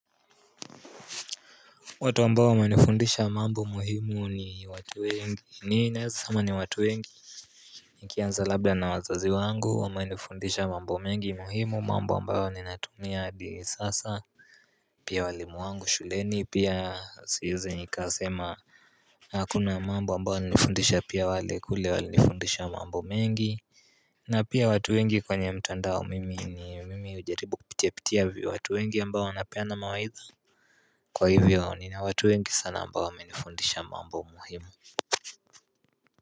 Watu ambao wamenifundisha mambo muhimu ni watu wengi nii naeza sama ni watu wengi Niki anza labda na wazazi wangu wamanifundisha mambo mengi muhimu mambo ambayo ni natumia hadi sasa Pia walimu wangu shuleni pia siwezi nikasema Hakuna mambo ambayo wanifundisha pia wale kule walifundisha mambo mengi na pia watu wengi kwenye mtandao mimi ni mimi ujaribu kipitia pitia vipi watu wengi ambao wanapeana mawaidha Kwa hivyo nina watu wengi sana ambao wamenifundisha mambo muhimu.